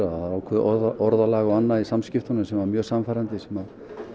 ákveðið orðalag og annað í samskiptunum sem var mjög sannfærandi sem